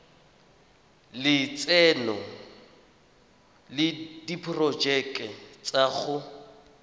lotseno le diporojeke tsa go